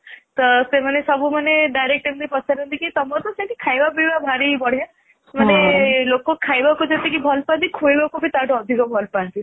ତ ସେମାନେ ଏମିତି direct ସବୁ ପଚାରନ୍ତି କି ତମର ତ ଖାଇବା ପିଇବା ବହୁତ ବଢିଆ ମାନେ ଲୋକ ଖାଇବାକୁ ଯେତିକି ଭଲ ପାଆନ୍ତି ଖୋଇବାକୁ ବି ତାଠୁ ଅଧିକ ଭଲ ପାଆନ୍ତି